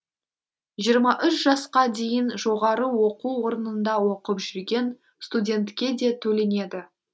жиырма үш жасқа дейін жоғары оқу орнында оқып жүрген студентке де төленеді